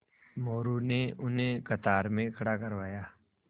मोरू ने उन्हें कतार में खड़ा करवाया